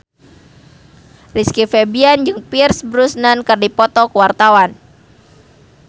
Rizky Febian jeung Pierce Brosnan keur dipoto ku wartawan